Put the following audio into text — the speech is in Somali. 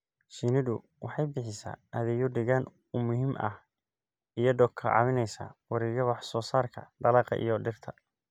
Shinnidu waxay bixisaa adeegyo deegaan oo muhiim ah iyadoo ka caawinaysa wareegga wax soo saarka dalagga iyo dhirta.